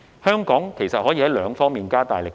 香港其實可以在兩方面加大力度。